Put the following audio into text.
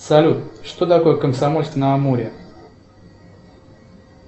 салют что такое комсомольск на амуре